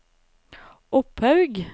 Opphaug